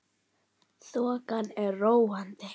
Þokan er róandi